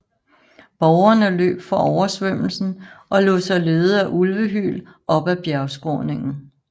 Borgerne løb fra oversvømmelsen og lod sig lede af ulvehyl op ad bjergskråningen